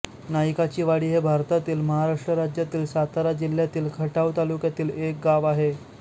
नाईकाचीवाडी हे भारतातील महाराष्ट्र राज्यातील सातारा जिल्ह्यातील खटाव तालुक्यातील एक गाव आहे